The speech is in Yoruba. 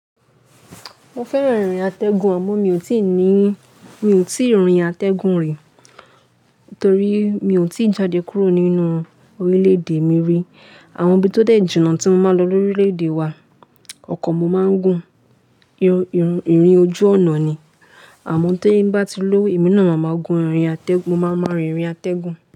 Mo fẹ́ràn ìrìn atẹ́gùn àmọ́ mi ò tíì ní, mi ò tíì rin atẹ́gùn rí torí mi ò tíì jáde kúrò nínú orílẹ̀ èdè mi rí. Àwọn ibi tó dẹ̀ jùnà tí mo máa ń lọ lórílẹ̀ èdè wa, ọkọ̀ mo máa ń gùn, irun, ìrìn ojú ọ̀nà ni. Àmọ́ tí bá ti ló ìmíràn, màá máa gun ìrìn atẹ́gùn, mó máa máa rin ìrìn atẹ́gùn.